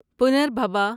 پنربھبا